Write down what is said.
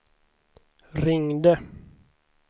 ringde